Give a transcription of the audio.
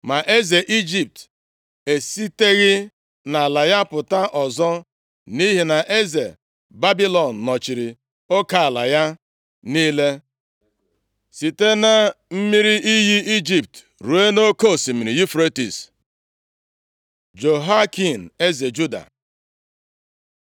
Ma eze Ijipt esiteghị nʼala ya pụta ọzọ, nʼihi na eze Babilọn nọchiri oke ala ya niile, site na mmiri iyi Ijipt ruo nʼoke Osimiri Yufretis. Jehoiakin eze Juda